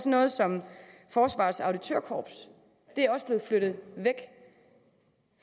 noget som forsvarets auditørkorps det er også blevet flyttet væk